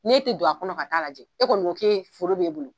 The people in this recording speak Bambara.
N'i e tɛ don a kɔnɔ ka ta'a lajɛ e kɔni ko foro bɛ e bolo